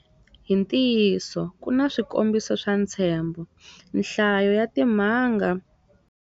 Hi ntiyiso, ku na swikombiso swa ntshembho. Nhlayo ya timhangu.